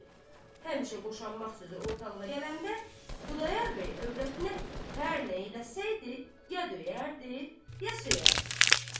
Həmişə boşanmaq sözü ortalığa gələndə, Xudayar bəy övrətinə hər nə eləsəydi, ya döyərdi, ya söyərdi.